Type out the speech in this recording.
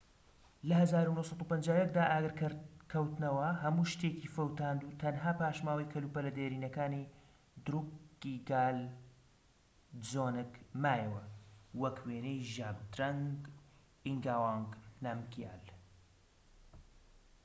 لە ١٩٥١ دا ئاگرکەوتنەوە هەموو شتێکی فەوتاند و تەنها پاشماوەی کەلوپەلە دێرینەکانی دروکگیال دزۆنگ مایەوە، وەکو وێنەی ژابدرەنگ ئینگاوانگ نامگیال